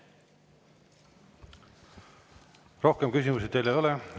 Rohkem küsimusi teile ei ole.